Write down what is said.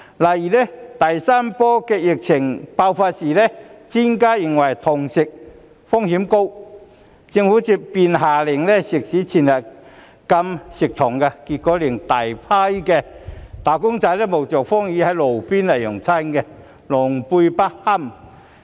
例如第三波疫情爆發的時候，專家認為堂食風險高，政府便下令食肆全日禁堂食，結果令大批"打工仔"冒着風雨在路邊用餐，狼狽不堪。